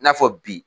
I n'a fɔ bi